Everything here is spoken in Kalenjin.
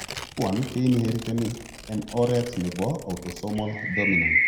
Tuan keinheriteni en oret nebo autosomal dominant